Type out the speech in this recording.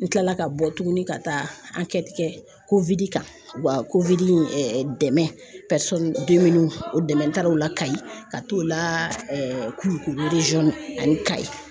N kilala ka bɔ tuguni ka taa kan o ka dɛmɛ o dɛmɛ n taara o la Kayi ka t'o la Kulukoro ani Kayi